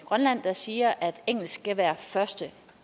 grønland der siger at engelsk skal være første